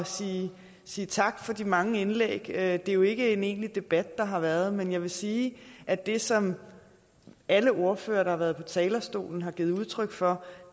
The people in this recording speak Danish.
sige sige tak for de mange indlæg det er jo ikke en egentlig debat der har været men jeg vil sige at det som alle ordførere der har været på talerstolen har givet udtryk for